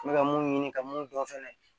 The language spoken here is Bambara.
N bɛ ka mun ɲini ka mun dɔn fɛnɛ